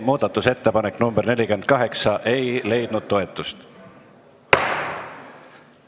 Muudatusettepanek nr 48 ei leidnud toetust.